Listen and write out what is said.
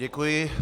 Děkuji.